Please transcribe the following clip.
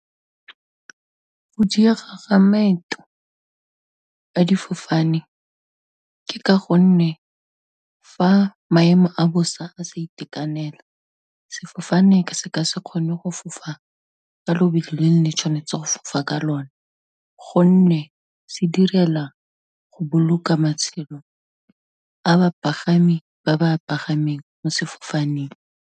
Go diega ga maeto a difofane, ke ka gonne fa maemo a bosa a sa itekanela sefofane ka se ka se kgone go fofa, ka lobelo le neng le tshwanetse go fofa ka lone, gonne sedirela go boloka matshelo a bapagami, ba ba bapagameng mo sefofaneng.